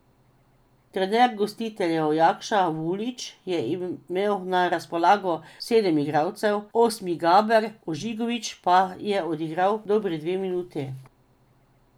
Trener gostiteljev Jakša Vulić je imel na razpolago sedem igralcev, osmi Gaber Ožegovič pa je odigral dobri dve minuti.